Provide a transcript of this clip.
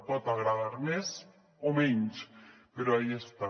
pot agradar més o menys però aquí està